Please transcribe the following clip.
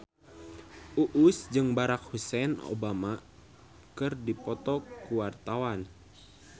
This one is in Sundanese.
Uus jeung Barack Hussein Obama keur dipoto ku wartawan